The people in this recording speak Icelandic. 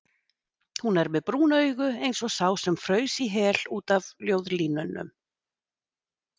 Hún er með brún augu eins og sá sem fraus í hel út af ljóðlínum.